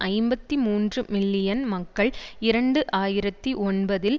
ஐம்பத்தி மூன்று மில்லியன் மக்கள் இரண்டு ஆயிரத்தி ஒன்பதில்